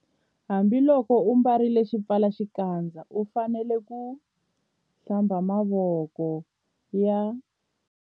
Hambiloko u ambarile xipfalaxikandza u fanele ku- Hlamba mavoko ya.